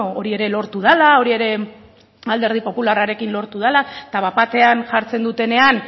hori ere lortu dela hori ere alderdi popularrarekin lortu dela eta bat batean jartzen dutenean